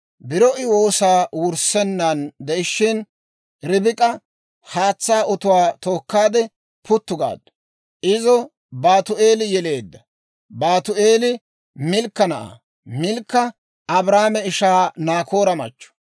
Biro I woosaa wurissenaan de'ishshin, Ribik'a haatsaa otuwaa tookkaade puttu gaaddu. Izo Baatu'eeli yeleedda; Baatu'eeli Milkka na'aa; Milkka Abrahaame ishaa Naakoora machchatto.